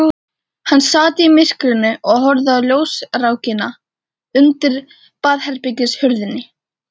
Hann sat í myrkrinu og horfði á ljósrákina undir baðherbergishurðinni.